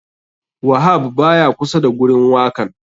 Wahab baya kusa da gurin wakan.